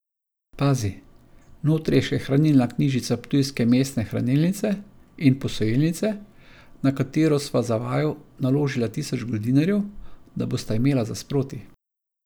Pazi, notri je še hranilna knjižica ptujske mestne hranilnice in posojilnice, na katero sva za vaju naložila tisoč goldinarjev, da bosta imela za sproti.